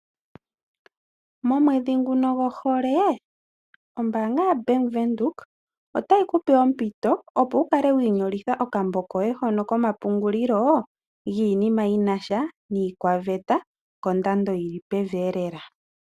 Momwedhi ngono gohole ombaanga yoBank Windhoek , otayi kupe ompito opo wukale wiinyolitha okambo koye hono komapungulilo giinima yinasha niikwaveta kondando yili pevielela.